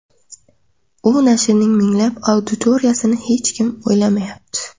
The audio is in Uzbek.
U nashrning minglab auditoriyasini hech kim o‘ylamayapti”.